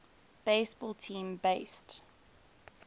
baseball team based